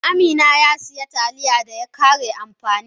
Amina ya sayi Taliya da ya kare amfani.